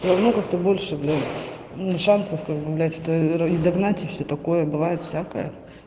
все равно как то больше блять ну шансов как бы блять ради догнать и все такое бывает всякое